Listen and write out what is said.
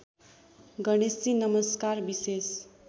गणेशजी नमस्कार विशेष